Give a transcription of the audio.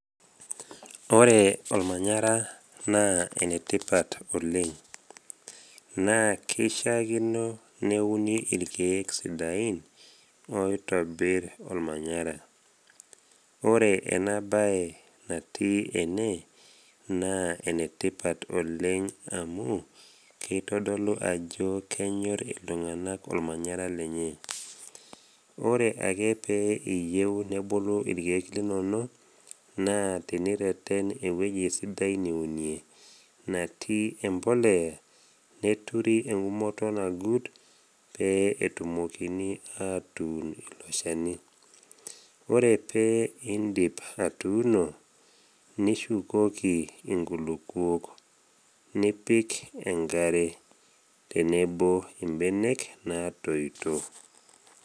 Ore olmanyara naa enetipat oleng. Naa keishaakino neuni ilkeek sidain oitobir olmanyara. Ore ena bae natii ene naa enetipat oleng amu keitodolu ajo kenyor iltung’ana olmanyara lenye. Ore ake pee iyeu nebulu ilkeek linono, naa tenireten ewueji sidai niune, natii embolea neturi engumoto nagut pee etumokini atuun ilo shani. Ore pee indip atuuno, nishukoki inkilukuok, nipik enkare tenebo imbenek natoito.